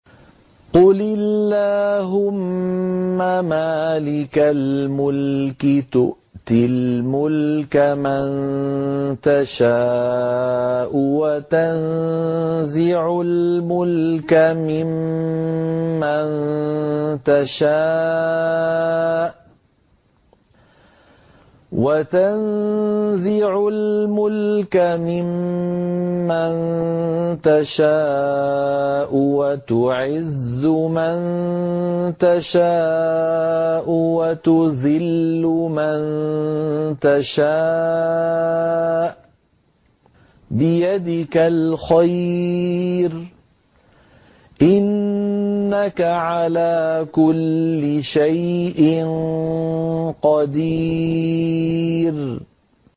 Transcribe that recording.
قُلِ اللَّهُمَّ مَالِكَ الْمُلْكِ تُؤْتِي الْمُلْكَ مَن تَشَاءُ وَتَنزِعُ الْمُلْكَ مِمَّن تَشَاءُ وَتُعِزُّ مَن تَشَاءُ وَتُذِلُّ مَن تَشَاءُ ۖ بِيَدِكَ الْخَيْرُ ۖ إِنَّكَ عَلَىٰ كُلِّ شَيْءٍ قَدِيرٌ